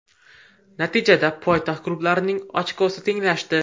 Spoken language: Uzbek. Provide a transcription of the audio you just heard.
Natijada poytaxt klublarining ochkosi tenglashdi.